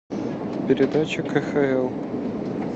передача кхл